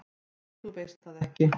"""Nei, þú veist það ekki."""